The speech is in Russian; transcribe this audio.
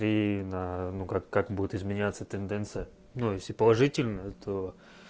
и ну как как будет изменяться тенденция ну если положительно то